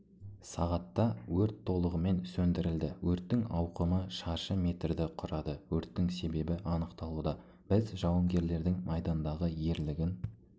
сағатта өрт толығымен сөндірілді өрттің ауқымы шаршы метрді құрады өрттің себебі анықталуда біз жауынгерлердің майдандағы ерлігін